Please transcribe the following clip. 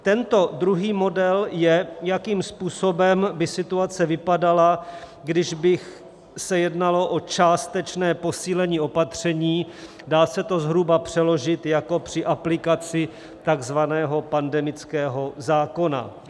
Tento druhý model je, jakým způsobem by situace vypadala, když by se jednalo o částečné posílení opatření, dá se to zhruba přeložit jako při aplikaci takzvaného pandemického zákona.